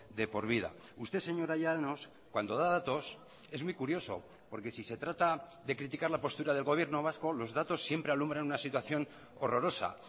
de por vida usted señora llanos cuando da datos es muy curioso porque si se trata de criticar la postura del gobierno vasco los datos siempre alumbran una situación horrorosa